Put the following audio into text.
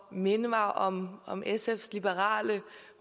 at minde mig om om sfs liberale